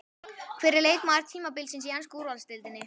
Hver er leikmaður tímabilsins í ensku úrvalsdeildinni?